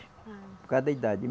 Ah. Por causa da idade.